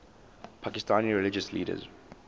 pakistani religious leaders